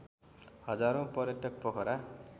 हजारौँ पर्यटक पोखरा